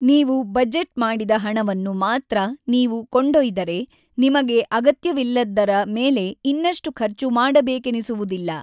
ನೀವು ಬಜೆಟ್ ಮಾಡಿದ ಹಣವನ್ನು ಮಾತ್ರ ನೀವು ಕೊಂಡೊಯ್ದರೆ, ನಿಮಗೆ ಅಗತ್ಯವಿಲ್ಲದ್ದರ ಮೇಲೆ ಇನ್ನಷ್ಟು ಖರ್ಚು ಮಾಡಬೇಕೆನಿಸುವುದಿಲ್ಲ.